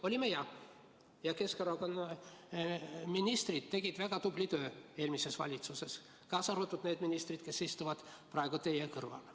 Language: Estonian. Olime jah, ja Keskerakonna ministrid tegid väga tublit tööd eelmises valitsuses, kaasa arvatud need ministrid, kes istuvad praegu teie kõrval.